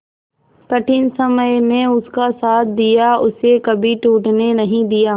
कठिन समय में उसका साथ दिया उसे कभी टूटने नहीं दिया